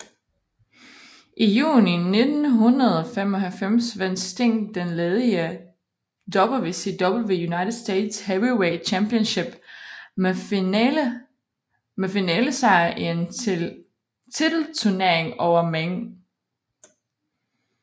I juni 1995 vandt Sting den ledige WCW United States Heavyweight Championship med finalesejr i en titelturnering over Meng